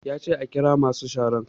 Ya ce ka ƙira masu sharan!